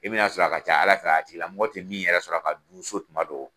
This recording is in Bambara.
E bɛ na sɔrɔ a ka ca Ala fɛ a tigi lamɔgɔ tɛ min yɛrɛ sɔrɔ a ka so tuma dɔ.